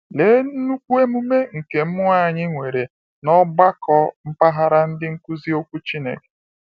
Lee nnukwu emume nke mmụọ anyị nwere na ọgbakọ mpaghara “Ndị nkuzi okwu Chineke ”!